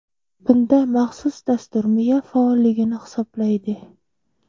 Bunda maxsus dastur miya faolligini hisoblaydi.